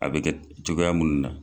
A bɛ kɛ cogoya minnu na.